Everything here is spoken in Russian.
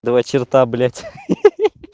два черта блять ха-ха-ха